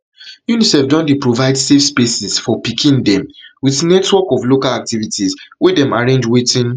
unicef don dey provide safe spaces for pikin dem pikin dem wit network of local activists wey dem arrange wetin